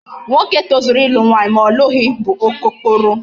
Nwoke tozuru ịlụ nwaanyị ma ọ lụghị bụ okokporo.